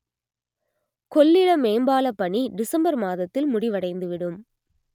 கொள்ளிட மேம்பாலப் பணி டிசம்பர் மாதத்தில் முடிவடைந்து விடும்